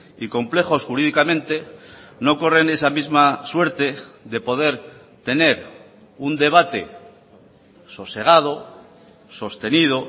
y complejos jurídicamente no corren esa misma suerte de poder tener un debate sosegado sostenido